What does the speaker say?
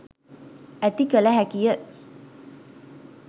ඇති කළ හැකිය.